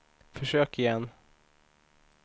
försök igen